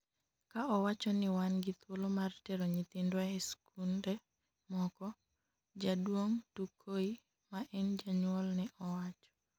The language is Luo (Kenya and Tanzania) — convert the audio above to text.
ka owacho ni wan gi thuolo mar tero nyithindwa e skunde moko,;jaduong' Tukoi ma en janyuol ne owacho